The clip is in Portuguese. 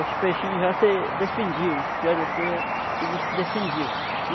Os peixinhos já se defendiam, os pirarucú ia, eles se defendiam.